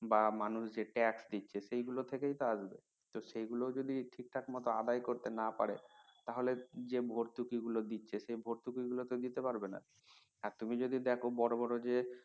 বা মানুষ যে ট্যাক্স দিচ্ছে সেগুলো থেকেই তো আসবে তো সেগুলো যদি ঠিক মত আদায় করতে না পারে তাহলে যে ভর্তুকি গুলো দিচ্ছে সে ভর্তুকি গুলো তো দিতে পারবেনা আর তুমি যদি দেখো বড় বড় যে